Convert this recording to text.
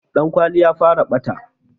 Dan kwali ya fara ɓata